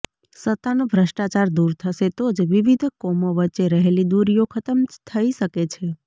સત્તાનું ભ્રષ્ટાચાર દૂર થશે તો જ વિવિધ કોમો વચ્ચે રહેલી દુરીઓ ખતમ થઈ શકે છે